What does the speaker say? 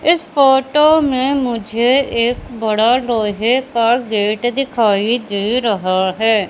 इस फोटो में मुझे एक बड़ा लोहे का गेट दिखाई दे रहा है।